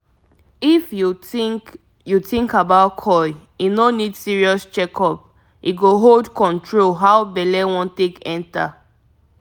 if you think you think about coil e no need serious check up - e go hold control how belle wan take enter